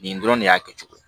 Nin dɔrɔn de y'a kɛcogo ye